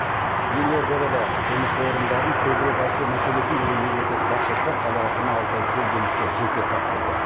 елордада да жұмыс орындарын көбірек ашу мәселесін бүгін мемлекет басшысы қала әкімі алтай көлгіновке жеке тапсырды